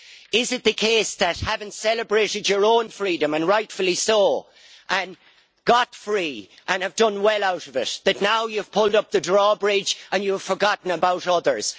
Is it the case that having celebrated your own freedom, and rightfully so, and got free and done well out of it, that now you have pulled up the drawbridge and you have forgotten about others?